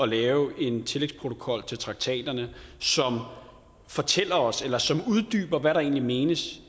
lave en tillægsprotokol til traktaterne som fortæller os eller som uddyber hvad der egentlig menes